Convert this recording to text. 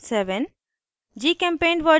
* java version 7